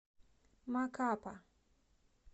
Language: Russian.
макапа